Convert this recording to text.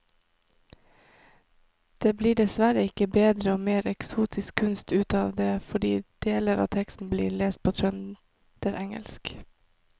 Det blir dessverre ikke bedre og mer eksotisk kunst ut av det fordi deler av teksten blir lest på trønderengelsk.